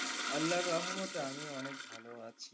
আল্লার রহমতে আমিও অনেক ভালো আছি।